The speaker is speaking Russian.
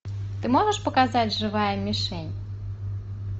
ты можешь показать живая мишень